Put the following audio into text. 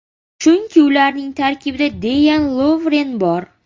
Chunki ularning tarkibida Deyan Lovren bor.